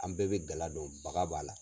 An bɛɛ bɛ gala don baga b'a la.